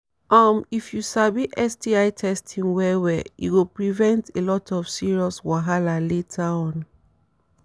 um if u sabi sti testing well well e go prevent a lot of serious wahala later on